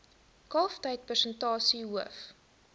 kalftyd persentasie hoof